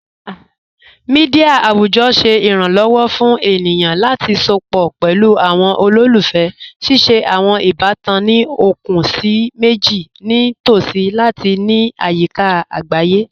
Mẹdia awujọ ṣẹ iranlọwọ fun ènìyàn lati sọpọ̀ pẹ̀lú awọn olólùfẹ́, ṣíṣẹ̀ awọn ìbàtàn ní okun síì mẹjìì ni tosí ati ní ayika agbáyé.